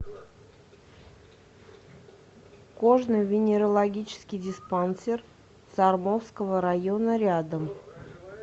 кожно венерологический диспансер сормовского района рядом